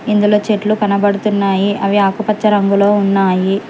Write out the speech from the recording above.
ఇందులో చెట్లు కనబడుతున్నాయి అవి ఆకుపచ్చ రంగులో ఉన్నాయి.